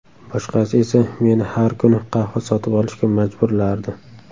Boshqasi esa meni har kuni qahva sotib olishga majburlardi.